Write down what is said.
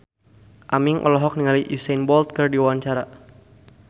Aming olohok ningali Usain Bolt keur diwawancara